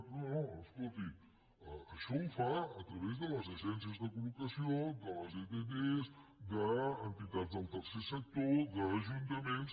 no no escolti això ho fa a través de les agències de collocació de les ett d’entitats del tercer sector d’ajuntaments